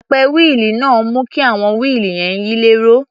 Apẹ wíìlì náà ń mú kí àwọn wíìlì yẹn yí lẹ́rọ̀.